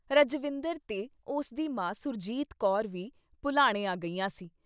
ਰਜਵਿੰਦਰ ਤੇ ਉਸਦੀ ਮਾਂ ਸੁਰਜੀਤ ਕੌਰ ਵੀ ਭੁਲਾਣੇ ਆ ਗਈਆਂ ਸੀ ।